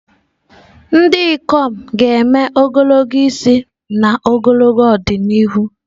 Ndị ikom ga-eme ogologo isi n'ọdịnihu.